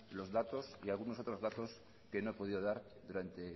los datos y algunos otros datos que no he podido dar durante